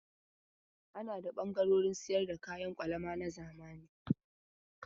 Ana da ɓangaren sayar da kayan kwalama na zamani.